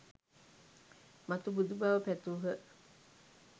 මතු බුදු බව පැතූහ